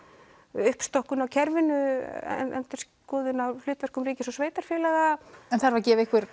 uppstokkun á kerfinu endurskoðun á hlutverki ríkis og sveitarfélaga en þarf að gefa ykkur